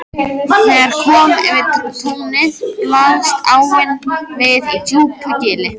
Þegar kom yfir túnið blasti áin við í djúpu gili.